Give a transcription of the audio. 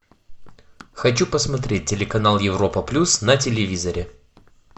хочу посмотреть телеканал европа плюс на телевизоре